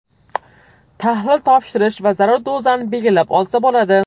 Tahlil topshirish va zarur dozani belgilab olsa bo‘ladi.